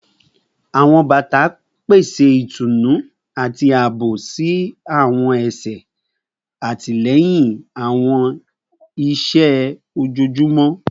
Awọn bata pese itunu ati aabo si awọn ẹsẹ, atilẹyin awọn iṣẹ ojoojumọ